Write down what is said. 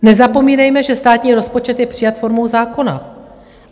Nezapomínejme, že státní rozpočet je přijat formou zákona.